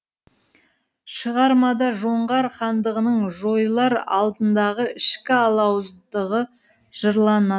шығармада жоңғар хандығының жойылар алдындағы ішкі алауыздығы жырлана